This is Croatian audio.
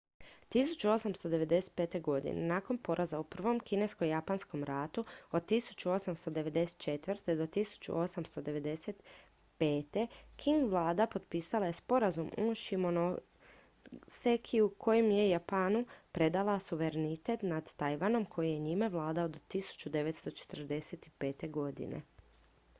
1895. nakon poraza u prvom kinesko-japanskom ratu 1894. - 1895. qing vlada potpisala je sporazum u shimonosekiju kojim je japanu predala suverenitet nad tajvanom koji je njime vladao do 1945